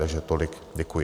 Takže tolik, děkuji.